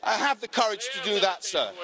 Have the courage to do that, sir.